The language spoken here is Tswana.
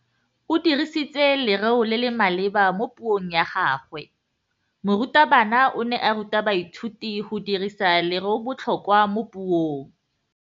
O dirisitse lerêo le le maleba mo puông ya gagwe. Morutabana o ne a ruta baithuti go dirisa lêrêôbotlhôkwa mo puong.